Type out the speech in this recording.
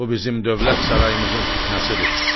Bu bizim dövlət sarayımızın fitnəsidir.